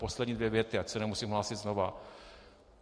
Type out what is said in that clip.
Poslední dvě věty, ať se nemusím hlásit znovu.